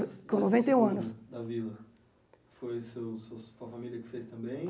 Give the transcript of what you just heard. Com noventa e um anos Foi su sua família que fez também?